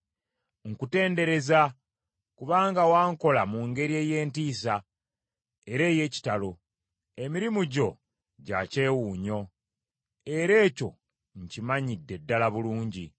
Nkutendereza, kubanga wankola mu ngeri ey’entiisa era ey’ekitalo; emirimu gyo gya kyewuunyo; era ekyo nkimanyidde ddala bulungi.